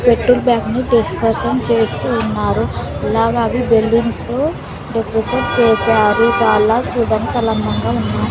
పెట్టుడ్ bank ని discussion చేస్తూ ఉన్నారు అలాగే అది బెలూన్స్ తో డెక్రేషన్ చేశారు చాలా చూడ్డానికి చాలా అందంగా ఉన్నాయి.